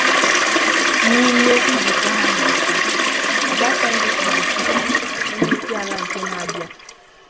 N'ime nzukọ ha mere taa, Obasanjo kpọrọ Atiku 'Onyeisiala nke na-abịa'.